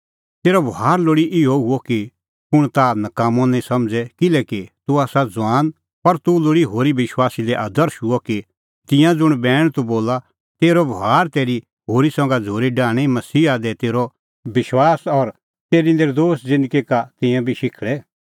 तेरअ बभार लोल़ी इहअ हुअ कि कुंण ताह नकाम्मअ नां समझ़े किल्हैकि तूह आसा ज़ुआन पर तूह लोल़ी होरी विश्वासी लै आदर्श हुअ कि तिंयां ज़ुंण बैण तूह बोला तेरअ बभार तेरी होरी संघै झ़ूरी डाहणीं मसीहा दी तेरअ विश्वास और तेरी नर्दोश ज़िन्दगी का तिंयां बी शिखल़े